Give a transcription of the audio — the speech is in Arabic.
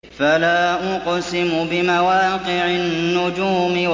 ۞ فَلَا أُقْسِمُ بِمَوَاقِعِ النُّجُومِ